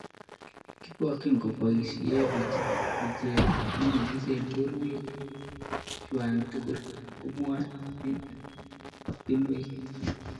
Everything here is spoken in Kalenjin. "Kibokchi koboisie luchet nenyigis eng' borwek chwak tugul", komwae Obianinwa.